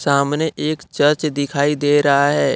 सामने एक चर्च दिखाई दे रहा है।